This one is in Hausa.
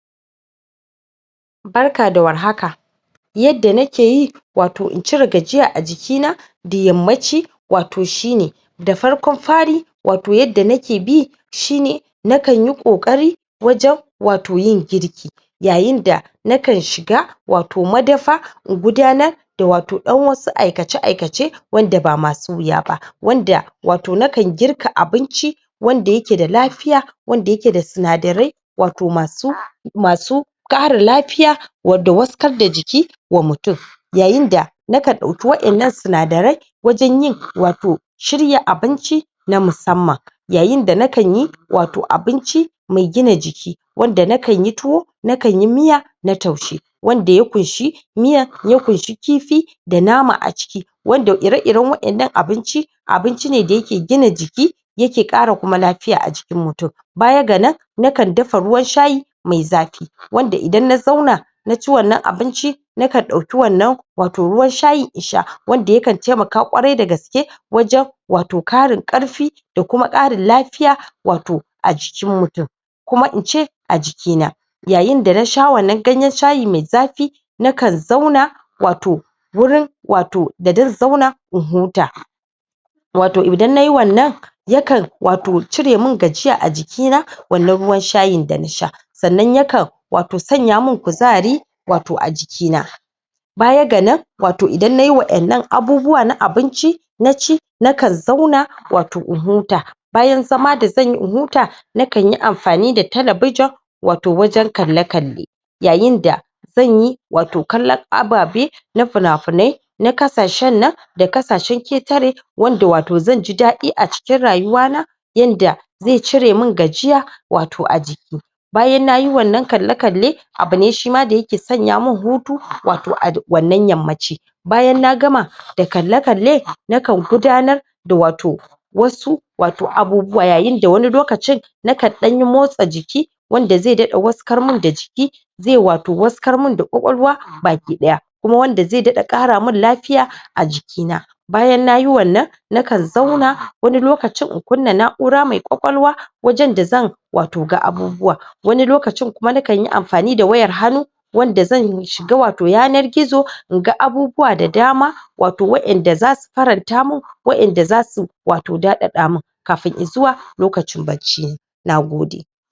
barka da warhaka yadda nakeyi wato in cire gajiya a jikina da yammaci wato shine da farkon fari, wato yadda nake bi shine nakanyi ƙoƙari wajen wato yin girki yayin da nakan shiga wato madafa in gudanar da wato ɗan wasu aikace aikace wanda ba masu wuya ba, wanda wato nakan girka abinci wanda yake da lafiya wanda yake da sinadarai wato masu masu ƙarin lafiya wadda waskas da jiki nakan ɗauki waɗannan sinadarai wajen yin wato shirya abinci na musamman yayin da nakan yi wato abinci mai gina jiki wanda nakan yi tuwo, nakan yi miya na taushe wanda ya ƙunshi miya ya ƙunshi kifi da nama aciki wanda ire iren waƴannan abincin abinci ne da yake gina jiki yake ƙara kuma lafiya a jikin mutum bayaga nan nakan dafa ruwan shayi mai zafi wanda idan na zauna naci wannan abinci nakan dauki wannan wato ruwan shayin insha wanda yakan taimaka ƙwarai da gaske wajen wato ƙarin ƙarfi da kuma ƙarin lafiya wato a jikin mutum koma in ce a jikina yayin da nasha wannan ganyen shayi mai zafi nakan zauna wato wurin wato da zan zauna in huta wato idan nayi wannan yakan wato ciremin gajiya a jikina wannan ruwan shayin da nasha sannan yakan wato sanyamin kuzari a jikina bayaga nan wato idana nayi waƴannan abubuwa na abinci naci nakan zauna wato in huta bayana zama da zanyi in huta nakanyi anfani da talabijin wato wajen kalle kalle yayinda zanyi wato kallon ababe na finafinai na ƙasashen nan da ƙasashen ƙetare wanda wato zanji daɗi acikin rayuwana yanda ai cire min gajiya a jiki na bayan nayi wannan kalle kalle abu ne shima da yake sanya min hutu wato a wannan yammaci bayan na gama da kalle kalle nakan gudanar da wato wasu wato abubuwa yayinda wani lokacin nakan ɗanyi motsa jiki wanda zai daɗa waskar min da jiki zai wato waskar min da ƙwaƙwalwa baki ɗaya kuma wanda zai daɗa ƙara min lafiya a jikina bayan nayi wannan nakan zauna wani lokacin naka kunna na'aura mai ƙwaƙwalwa wajen da zan ga abubuwa, wani lokacin kuma nakan yi anfani da wayar hannu wanda zan shiga wato yanar gizo in ga abubuwa da dama wato waanda zasu faranta min waƴanda zasu daɗaɗa min kafin izuwa lokacin barci, nagode